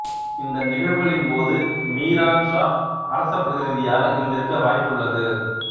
இந்த நிகழ்வுகளின் போது மீரான் ஷா அரசப் பிரதிநிதியாக இருந்திருக்க வாய்ப்புள்ளது